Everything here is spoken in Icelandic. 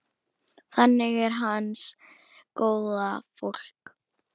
Þannig er hans góða fólk.